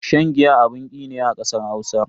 Shan giya abun ki ne a kasar Hausa.